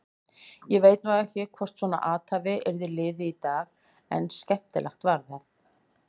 Ég veit nú ekki hvort svona athæfi yrði liðið í dag en skemmtilegt var það.